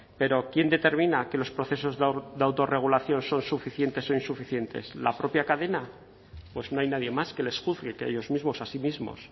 pero quién determina que los procesos de autorregulación son suficientes o insuficientes la propia cadena pues no hay nadie más que les juzgue que ellos mismos a sí mismos